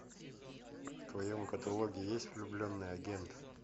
в твоем каталоге есть влюбленный агент